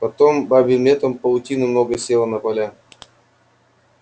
потом бабьим летом паутины много село на поля